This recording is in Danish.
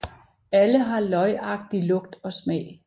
Alle har løgagtig lugt og smag